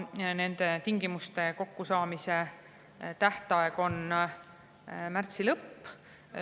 Nende tingimuste kokku tähtaeg on märtsi lõpp.